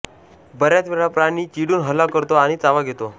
बऱ्याच वेळा प्राणी चिडून हल्ला करतो आणि चावा घेतो